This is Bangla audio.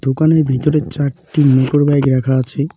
ওখানে ভিতরে চারটি মোটরবাইক রাখা আছে।